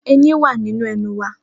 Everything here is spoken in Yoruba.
Eyín wá nínú ẹnu wa.